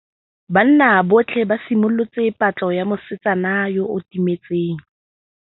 Banna botlhê ba simolotse patlô ya mosetsana yo o timetseng.